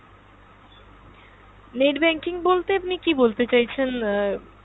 net banking বলতে আপনি কী বলতে চাইছেন আহ